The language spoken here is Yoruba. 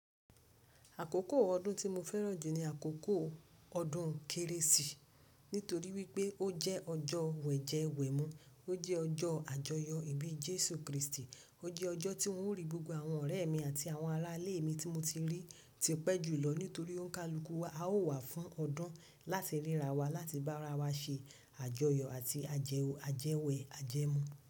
Àkókò ọdún tí mo fẹ́ràn jù ni àkókò ọdún kérésì. Nítorí wípé ó jẹ́ ọjọ́ wẹ̀jẹwẹ̀mu. Ó jẹ́ ọjọ́ àjọyọ̀ ìbí Jésù Kristi. Ó jẹ́ ọjọ́ tí ou ń rí gbogbo àwọn ọ̀rẹ́ mi àti àwọn ará ilé mi tí mo ti rí tipẹ́ julọ nítorí ó ń ka luku wa. A ó wà fún ọdún láti ríra wa, láti bá ara wa ṣe àjọyọ̀ àti ájẹwò ajẹwẹ̀ ajẹmu.